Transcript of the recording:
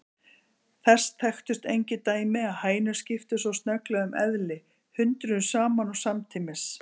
Þess þekktust engin dæmi að hænur skiptu svo snögglega um eðli, hundruðum saman og samtímis.